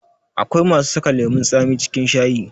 Akwai masu saka lemun tsami cikin shayi